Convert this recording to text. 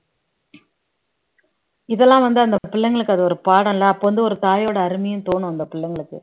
இதெல்லாம் வந்து அந்த பிள்ளைங்களுக்கு அது ஒரு பாடம் இல்லை அப்ப வந்து ஒரு தாயோட அருமையும் தோணும் அந்த பிள்ளைங்களுக்கு